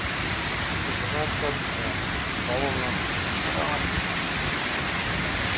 сол зырғанап келатып жаңағы балоннан зырғанап кеттік